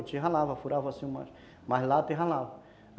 A gente ralava, furava assim mais lata e ralava.